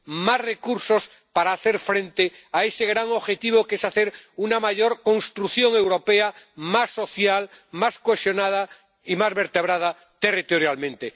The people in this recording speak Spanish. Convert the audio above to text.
Más recursos para hacer frente a ese gran objetivo que es hacer una mayor construcción europea, una Europa más social, más cohesionada y más vertebrada territorialmente.